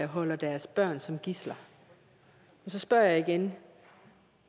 holder deres børn som gidsler så spørger jeg igen